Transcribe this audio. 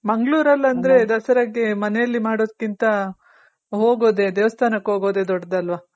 ಮಂಗ್ಳೂರಲ್ಲಂದ್ರೆ ದಸರಾಗೆ ಮನೇಲಿ ಮಾಡೋದ್ಕಿಂತ ಹೋಗೋದೇ ದೇವಸ್ಥಾನಕ್ಕೆ ಹೋಗೋದೇ ದೊಡ್ದದು ಅಲ್ವ.